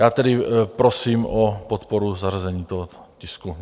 Já tedy prosím o podporu zařazení tohoto tisku.